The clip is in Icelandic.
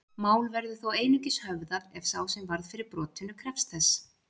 Mál verður þó einungis höfðað ef sá sem varð fyrir brotinu krefst þess.